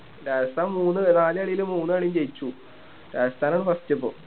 രാജസ്ഥാൻ മൂന്ന് നാല് കളില് മൂന്ന് കളിയും ജയിച്ചു രാജസ്ഥാൻ ആണ് first ഇപ്പം